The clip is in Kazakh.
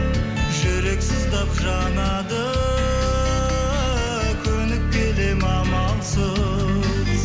жүрек сыздап жанады көніп келем амалсыз